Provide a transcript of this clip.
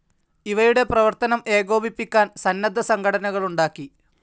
ഇവയുടെ പ്രവർത്തനം ഏകോപിപ്പിക്കാൻ സന്നദ്ധ സംഘടനകളുണ്ടാക്കി.